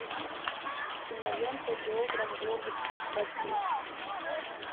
кинолента географ глобус пропил